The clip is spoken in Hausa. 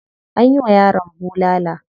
Anyi wa yaron bulala.